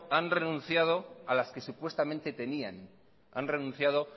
han renunciado a las que supuestamente tenían han renunciado